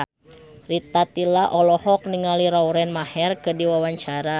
Rita Tila olohok ningali Lauren Maher keur diwawancara